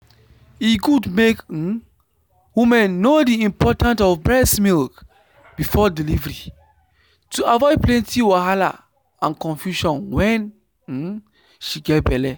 e good make um woman know the important of breast milk before delivery to avoid plenty wahala and confusion wen um she get belle